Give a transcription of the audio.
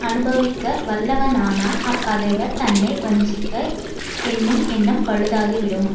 அனுபவிக்க வல்லவனானால் அப்பகைவர் தன்னை வஞ்சிக்க என்னும் எண்ணம் பழுதாகிவிடும்